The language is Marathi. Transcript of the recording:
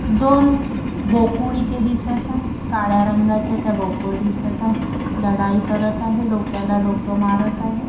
दोन बोकुड इथे दिसत आहे कळया रंगाच्या त्या बोकुड दिसत आहे लढाई करत आहे डोक्याला डोकं मारत आहे.